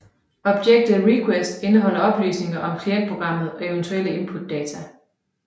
Objektet request indeholder oplysninger om klientprogrammet og eventuelle inputdata